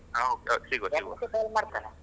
ಹ okay, okay ಸಿಗುವ ಸಿಗುವ, amount ಉ send ಮಾಡತೇನೆ.